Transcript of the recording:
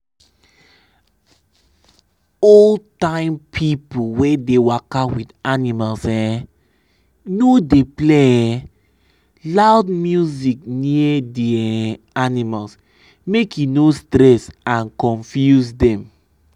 old time people wey dey waka with animals um no dey play um loud music near d um animals make e no stress and confuse dem.